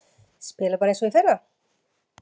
Spila bara eins og í fyrra?